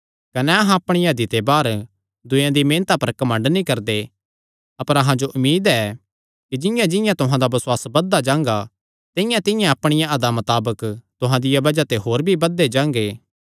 कने अहां अपणिया हदी ते बाहर दूयेयां दी मेहनता पर घमंड नीं करदे अपर अहां जो उम्मीद ऐ कि जिंआंजिंआं तुहां दा बसुआस बधदा जांगा तिंआंतिंआं अहां अपणिया हदा मताबक तुहां दिया बज़ाह ते होर भी बधदे जांगे